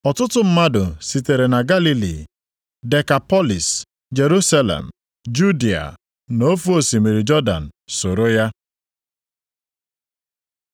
Ọtụtụ mmadụ sitere na Galili, Dekapọlịs, + 4:25 Dekapọlịs pụtara Obodo iri. Jerusalem, Judịa na nʼofe osimiri Jọdan, soro ya.